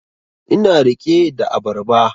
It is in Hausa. Ina rike da abarba